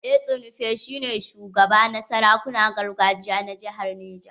Etsu Nupe shi ne shugaba na sarakunan gargajiya na jihar Niger.